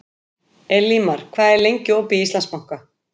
Elímar, hvað er lengi opið í Íslandsbanka?